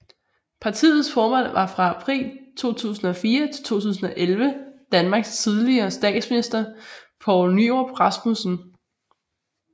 Partiets formand var fra april 2004 til 2011 Danmarks tidligere statsminister Poul Nyrup Rasmussen